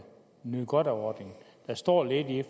nyde godt af ordningen der står lidt i